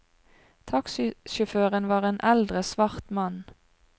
Taxisjåføren var en eldre svart mann.